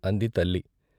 ' అంది తల్లి